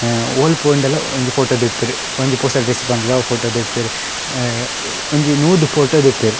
ಅ ಓಲ್ ಪೋಂಡಲ ಒಂಜಿ ಪೋಟೊ ದೆಪ್ಪುವೆರ್.ಒಂಜಿ ಪೊಸ ಡ್ರೆಸ್ಸ್ ಪಾಂಡುಂಡ ಅವು ಪೋಟೊ ದೆಪ್ಪುವೆರ್. ಅ ಒಂಜಿ ನೂದು ಪೋಟೊ ದೆಪ್ಪುವೆರ್.